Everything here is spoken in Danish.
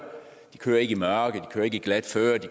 i mørke ikke kører i glat føre ikke